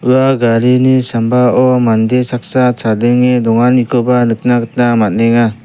ua garini sambao mande saksa chadenge donganikoba nikna gita man·enga.